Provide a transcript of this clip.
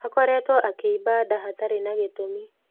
Akoretwo akĩiba nda hatarĩ na gĩtumi.